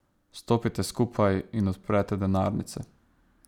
Stopite skupaj in odprete denarnice.